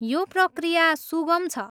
यो प्रक्रिया सुगम छ।